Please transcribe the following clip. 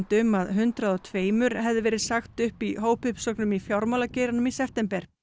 um að hundrað og tveimur hefði verið sagt upp í hópuppsögnum í fjármálageiranum í september